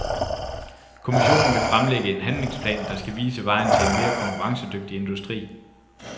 Kommissionen vil fremlægge en handlingsplan, der skal vise vejen til en mere konkurrencedygtig industri.